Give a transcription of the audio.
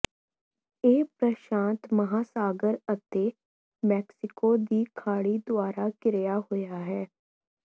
ਇਹ ਪ੍ਰਸ਼ਾਂਤ ਮਹਾਸਾਗਰ ਅਤੇ ਮੈਕਸੀਕੋ ਦੀ ਖਾੜੀ ਦੁਆਰਾ ਘਿਰਿਆ ਹੋਇਆ ਹੈ